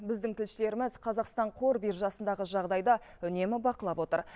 біздің тілшілеріміз қазақстан қор биржасындағы жағдайды үнемі бақылап отыр